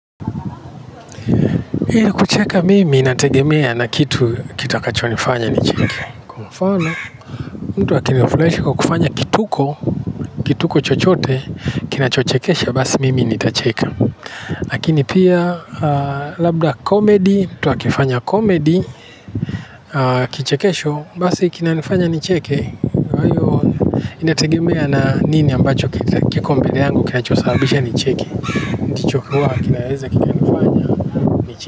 Ili kucheka mimi inategemea na kitu kitu kitakachonifanya nicheke. Kwa mfano mtu akini furahisha kwa kufanya kituko. Kituko chochote kinachochekesha basi mimi nitacheka. Lakini pia labda comedy mtu akifanya comedy kichekesho basi kinanifanya nicheke. Inategemea na nini ambacho kiko mbele yangu kinachosababisha nicheke. Ndicho hua kinaweza kinanifanya nicheke.